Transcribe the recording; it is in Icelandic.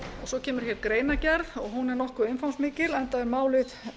svo kemur hér greinargerð hún er nokkuð umfangsmikil enda er málið